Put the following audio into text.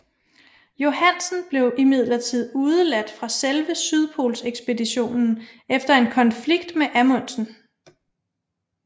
Johansen blev imidlertid udeladt fra selve sydpolsekspeditionen efter en konflikt med Amundsen